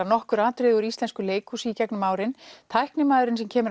nokkur atriði úr íslensku leikhúsi í gegnum árin tæknimaðurinn sem kemur